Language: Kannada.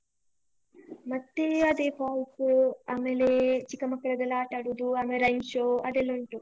ಮತ್ತೇ ಅದೇ falls , ಅಮೇಲೆ ಚಿಕ್ಕ ಮಕ್ಕ್ಳಿಗೆಲ್ಲ ಆಟಾಡುದು, ಅಮೇಲೆ rain show ಅದೆಲ್ಲ ಉಂಟು.